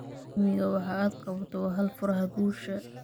Hammiga waxa aad qabato waa hal furaha guusha.